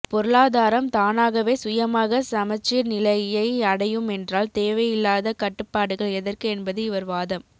பொருளாதாரம் தானாகவே சுயமாக சமச்சீர் நிலையை அடையுமென்றால் தேவையில்லாத கட்டுப்பாடுகள் எதற்கு என்பது இவர் வாதம்